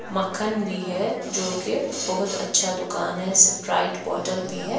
मक्खन भी है जो की बहुत अच्छा दुकान है स्प्राइट बॉटल भी है।